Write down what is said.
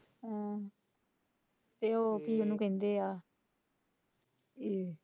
ਹਮ ਤੇ ਉਹ ਕਿ ਉਹਨੂੰ ਕਹਿੰਦੇ ਹੈ।